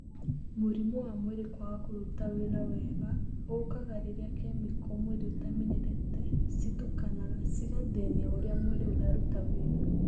Mũrimú wa mwĩrĩ kwaga kũruta wĩra wega ũkaga rĩrĩa kemiko mwĩrĩ utamenyerete citukanaga cĩgathĩnia ũrĩa mwĩrĩ ũraruta wĩra.